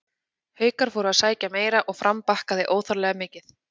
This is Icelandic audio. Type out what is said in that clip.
Haukar fóru að sækja meira og Fram bakkaði óþarflega mikið.